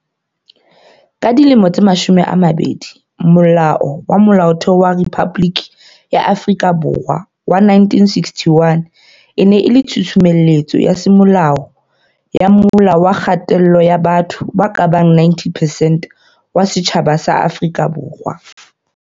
Ka dilemo tse mashome a mabedi, Molao wa Molaotheo wa Rephaboliki ya Afrika Borwa wa 1961 e ne e le tshusumetso ya semolao ya mola wa kgatello ya batho ba kabang 90 percent wa setjhaba sa Afrika Borwa.